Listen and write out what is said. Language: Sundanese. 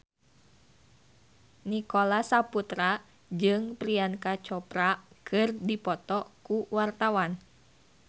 Nicholas Saputra jeung Priyanka Chopra keur dipoto ku wartawan